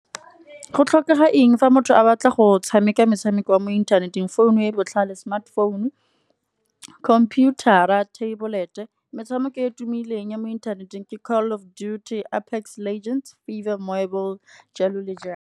Go tlhokega eng fa motho a batla go tshameka metshameko ya mo inthaneteng. Phone e botlhale smartphone, computer-a, tablet metshameko e e tumileng ya mo inthaneteng ke call of duty apex legends, FIFA mobile jalo le jalo.